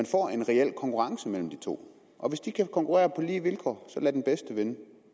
får en reel konkurrence mellem de to og hvis de kan konkurrere på lige vilkår så lad den bedste vinde